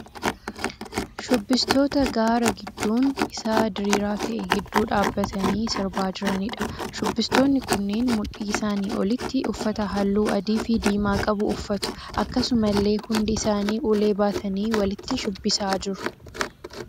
Shubbistoota gaara gidduun isaa diriiraa ta'e gidduu dhaabbatanii sirbaa jiraniidha. Shubbistoonni kunneen mudhii isaanii olitti uffata halluu adii fi diimaa qabu uffatu. Akkasumallee hundi isaanii ulee baatanii walitti shubbisaa jiru.